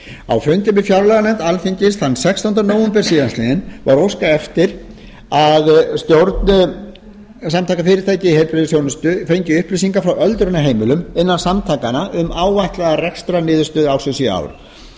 á fundi með fjárlaganefnd alþingis þann sextánda nóvember síðastliðinn var óskað eftir að stjórn samtaka fyrirtækja í heilbrigðisþjónustu fengi upplýsingar frá öldrunarheimilum innan samtakanna um áætlaða rekstrarniðurstöðu ársins í ár